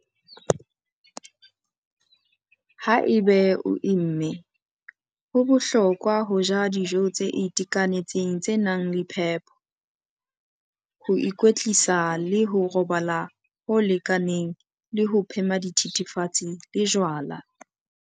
Haeba o imme, ho bohlokwa ho ja dijo tse itekanetseng tse nang le phepo, ho ikwetlisa le ho robala ho lekaneng le ho phema dithethefatsi le jwala.